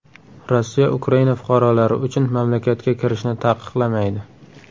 Rossiya Ukraina fuqarolari uchun mamlakatga kirishni taqiqlamaydi.